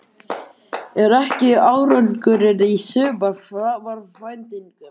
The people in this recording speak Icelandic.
Er ekki árangurinn í sumar framar væntingum?